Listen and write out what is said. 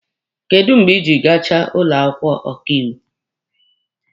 Kedụ mgbe ijiri gachaa ụlọ akwụkwọ ọkaiwu?